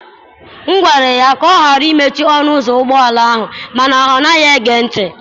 M gwara ya ka ọ ghara imechi ọnụ ụzọ ụgbọ ala mana ọ naghị ege ntị.